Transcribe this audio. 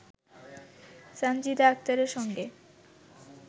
সানজিদা আক্তারের সঙ্গে